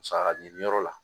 Saga ɲiniyɔrɔ la